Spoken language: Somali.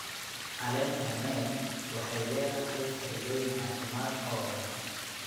Caleenta Neem waxay leedahay faa'iidooyin caafimaad oo badan.